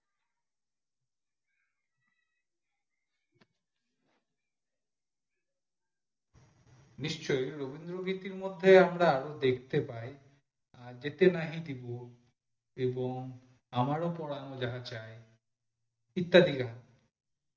নিশ্চই রবীন্দ্র গীতির মধ্যে আরো আমরা দেখতে পাই যেতে নাই দিবো এবং আমার ও পরান ও চাই ইত্যাদি গান